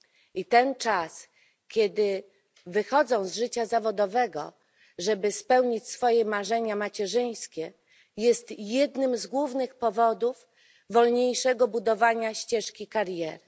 I ten czas, kiedy wypadają z życia zawodowego, żeby spełnić swoje marzenia macierzyńskie, jest jednym z głównych powodów wolniejszego budowania ścieżki kariery.